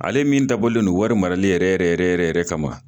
Ale min dabɔlen do wari marali yɛrɛ yɛrɛ yɛrɛ kama.